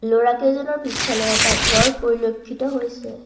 ল'ৰাকেইজনৰ পিছফালে এটা ঘৰ পৰিলক্ষিত হৈছে।